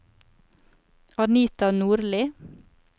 Anita Nordli